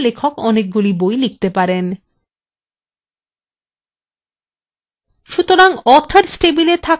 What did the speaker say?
আমাদের উদাহরণএ একজন লেখক অনেক বই লিখতে পারেন